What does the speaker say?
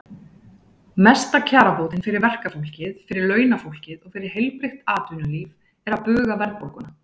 Mesta kjarabótin fyrir verkafólkið, fyrir launafólkið og fyrir heilbrigt atvinnulíf er að buga verðbólguna.